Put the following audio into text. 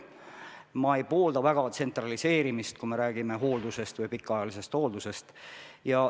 Ma ei poolda väga tsentraliseerimist, kui räägime hooldusest või pikaajalisest hooldusest.